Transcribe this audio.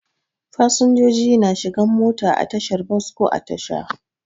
Fasinjoji na shigan mota a tashar bos ko a Tasha.